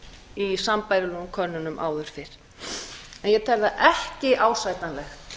í sambærilegum könnunum áður fyrr en ég tel það ekki ásættanlegt